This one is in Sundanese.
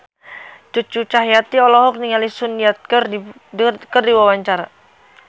Cucu Cahyati olohok ningali Sun Yang keur diwawancara